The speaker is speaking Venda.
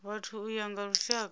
vhathu u ya nga lushaka